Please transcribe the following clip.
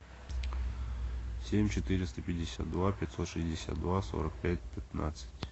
семь четыреста пятьдесят два пятьсот шестьдесят два сорок пять пятнадцать